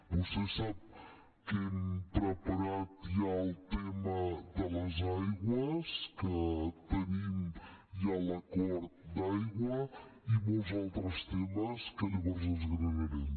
vostè sap que hem preparat ja el tema de les aigües que tenim ja l’acord d’aigua i molts altres temes que llavors desgranarem